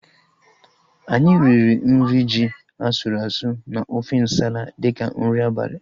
Anyị riri nri ji asụrụ asụ na ofe nsala dịka nri abalị